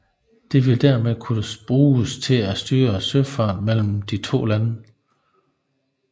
Det ville dermed kunne bruges til at styre søfarten mellem de to lande